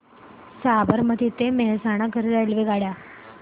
साबरमती ते मेहसाणा करीता रेल्वेगाड्या